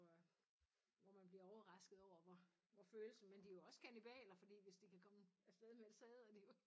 Hvor øh hvor man bliver overrasket over hvor følelse men de jo også kannibaler fordi hvis de kan komme afsted med det så æder de jo